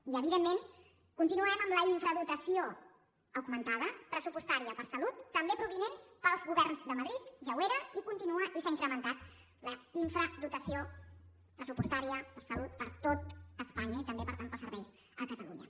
i evidentment continuem amb la infradotació augmentada pressupostària per a salut també provinent dels governs de madrid ja ho era i continua i s’ha incrementat la infradotació pressupostària per a salut per a tot espanya i també per tant per als serveis a catalunya